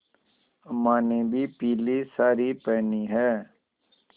अम्मा ने भी पीली सारी पेहनी है